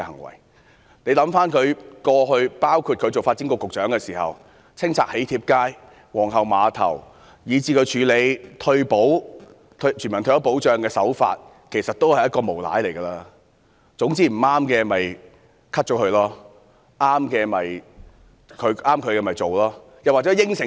大家想想她的過去，包括她擔任發展局局長的時候清拆"囍帖街"和皇后碼頭，以至她處理全民退休保障的手法，其實她是一名無賴，總之不合意的便刪去，合意的便做。